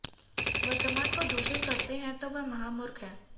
वर्तमान को दूषित करते हैं तो वे महामूर्ख हैं